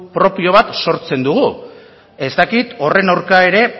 propioa bat sortzen dugu ez dakit horren kontra ere